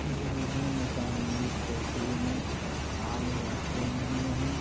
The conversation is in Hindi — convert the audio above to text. इस वीडियो में सामने एक टोकरी में आलू रखे हुए हैं।